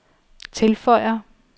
tilføjer